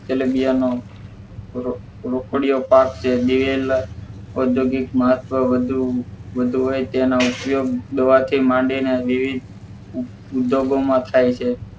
તેલીબિયાં નો રો રોકડીઓ પાક છે દિવેલ ઔધોગિક મહત્વ વધુ વધુ હોય તેના ઉપયોગ દવા થી માંડી ને વિવિધ ઉધ્યોગો માં થાય છે